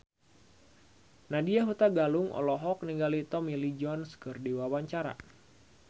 Nadya Hutagalung olohok ningali Tommy Lee Jones keur diwawancara